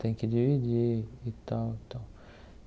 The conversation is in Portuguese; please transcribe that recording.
Tem que dividir e tal tal.